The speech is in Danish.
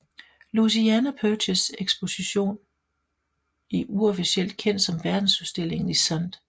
Louisiana Purchase exposition uofficielt kendt som Verdensudstillingen i St